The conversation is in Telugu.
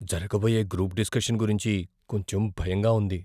జరగబోయే గ్రూప్ డిస్కషన్ గురించి కొంచెం భయంగా ఉంది.